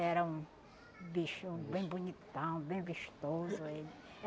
Era um bicho bem bonitão, bem vistoso ele.